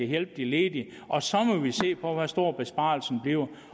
hjælpe de ledige og så må vi se på hvor stor besparelsen bliver